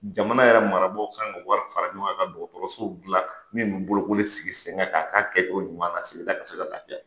Jamana yɛrɛ marabaaw kan ka wari fara ɲɔgɔn kan ka dɔgɔtɔrɔsow dilan min bɛ bolokoli sigi sen ka k'a ka kɛcogo ɲuman na sigida bɛ se ka laafiya.